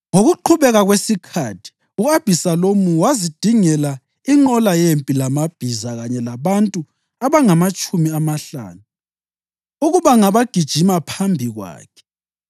Ngokuqhubeka kwesikhathi u-Abhisalomu wazidingela inqola yempi lamabhiza kanye labantu abangamatshumi amahlanu ukuba ngabagijima phambi kwakhe.